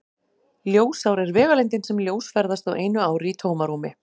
Ljósár er vegalengdin sem ljós ferðast á einu ári í tómarúmi.